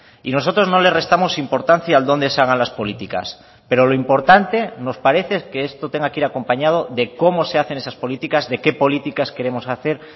y nosotros no le restamos importancia al dónde se hagan las políticas pero lo importante nos parece que esto tenga que ir acompañado de cómo se hacen esas políticas de qué políticas queremos hacer